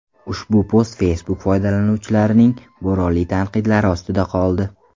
Ushbu post Facebook foydalanuvchilarining bo‘ronli tanqidlari ostida qoldi.